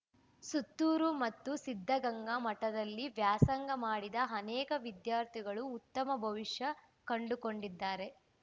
ಸುತ್ತೂರು ಮತ್ತು ಸಿದ್ದಗಂಗಾ ಮಠದಲ್ಲಿ ವ್ಯಾಸಂಗ ಮಾಡಿದ ಅನೇಕ ವಿದ್ಯಾರ್ಥಿಗಳು ಉತ್ತಮ ಭವಿಷ್ಯ ಕಂಡುಕೊಂಡಿದ್ದಾರೆ